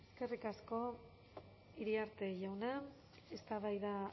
eskerrik asko iriarte jauna eztabaida